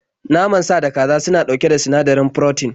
Naman sa da kaza suna ɗauke da sinadarin furotin